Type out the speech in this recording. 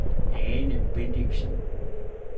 Ane Bendixen